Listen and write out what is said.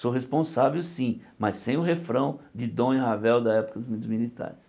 Sou responsável sim, mas sem o refrão de Dom e Ravel da época dos mili militares.